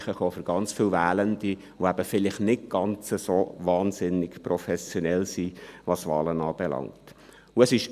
Dies gerade für Wählende, die vielleicht nicht dermassen professionell sind, was Wahlen anbelangt.